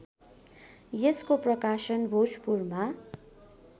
यसको प्रकाशन भोजपुरमा